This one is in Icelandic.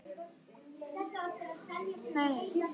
Það hef ég alltaf sagt.